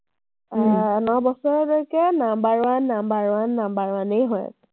আহ ন বছৰলৈকে number one, number one, number one য়েই হৈ আছে।